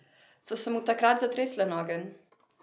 So se mu takrat zatresle noge?